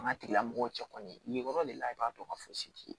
An ka tigilamɔgɔw cɛ kɔni yen yɔrɔ de la i b'a dɔn ka fɔ si ye